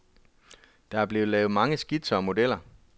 Der blev lavet mange skitser og modeller.